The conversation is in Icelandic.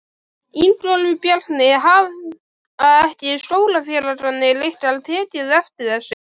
Ingólfur Bjarni: Hafa ekki skólafélagarnir ykkar tekið eftir þessu?